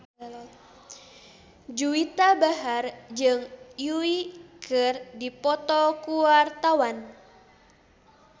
Juwita Bahar jeung Yui keur dipoto ku wartawan